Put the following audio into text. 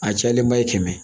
A cayalenba ye kɛmɛ